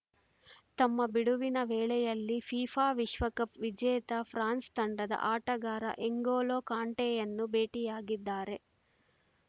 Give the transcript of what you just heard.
ತಮ್ಮ ಬಿಡುವಿನ ವೇಳೆಯಲ್ಲಿ ಫಿಫಾ ವಿಶ್ವಕಪ್‌ ವಿಜೇತ ಫ್ರಾನ್ಸ್‌ ತಂಡದ ಆಟಗಾರ ಎಂಗೊಲೋ ಕಾಂಟೆಯನ್ನು ಭೇಟಿಯಾಗಿದ್ದಾರೆ